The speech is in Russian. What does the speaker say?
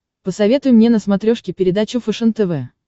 посоветуй мне на смотрешке передачу фэшен тв